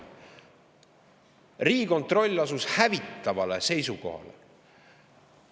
Riigikontroll asus hävitavale seisukohale.